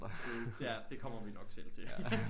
True ja det kommer vi nok selv til